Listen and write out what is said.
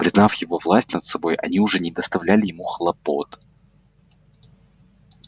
признав его власть над собой они уже не доставляли ему хлопот